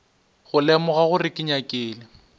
go lemoga gore ke nyakile